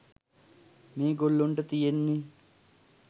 මේ ගොල්ලොන්ට තියෙන්නේ